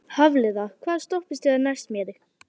Hafliða, hvaða stoppistöð er næst mér?